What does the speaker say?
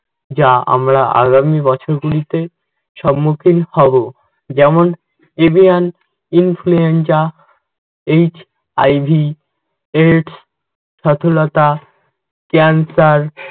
যা আমরা আগামী বছরগুলিতে সম্মুখীন হবো। যেমন influenza, HIV, AIDS, সথলতা, cancer,